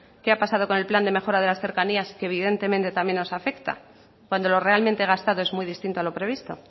qué ha pasado con el plan de mejora de las cercanías que evidentemente también nos afecta cuando lo realmente gastado es muy distinto a lo previsto